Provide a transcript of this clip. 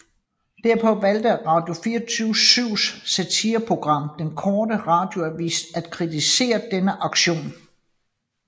Derpå valgte Radio24syvs satireprogram Den Korte Radioavis at kritisere denne aktion